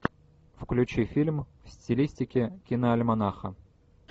включи фильм в стилистике киноальманаха